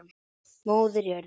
Móðir jörð.